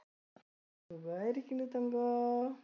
സുഖായി ഇരിക്കുന്നു തങ്കു.